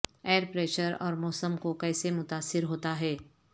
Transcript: year pressure اور موسم کو کیسے متاثر ہوتا ہے